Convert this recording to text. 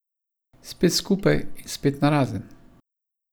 Spet skupaj in spet narazen.